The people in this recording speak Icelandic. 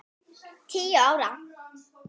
Tíu ár?